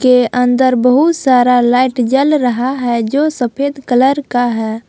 के अंदर बहुत सारा लाइट जल रहा है जो सफेद कलर का है।